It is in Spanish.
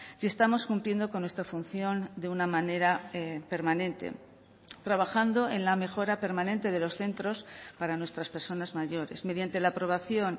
si estamos cumpliendo con nuestra función de una manera permanente trabajando en la mejora permanente de los centros para nuestras personas mayores mediante la aprobación